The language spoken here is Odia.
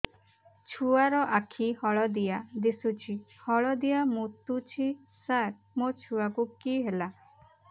ଛୁଆ ର ଆଖି ହଳଦିଆ ଦିଶୁଛି ହଳଦିଆ ମୁତୁଛି ସାର ମୋ ଛୁଆକୁ କି ହେଲା